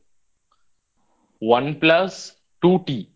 One Plus Two T